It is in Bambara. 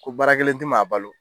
Ko baara kelen tɛ maa balo